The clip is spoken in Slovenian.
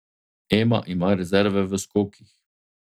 Ema ima rezerve v skokih.